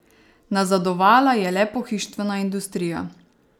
Nazadovala je le pohištvena industrija.